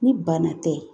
Ni bana tɛ